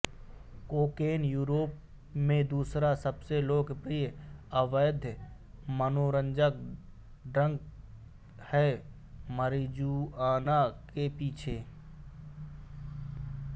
cocaine Europe में दूसरा सबसे लोकप्रिय अवैध मनोरंजक ड्रग है मारिजुआना के पीछे